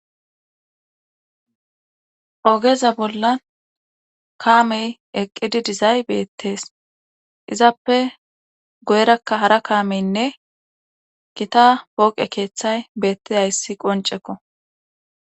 ogeza bolla kaamey eqqidi dizay beettees izappe goyrakka hara kaameynne gita booqe keeththay beetti hayssi qoncekko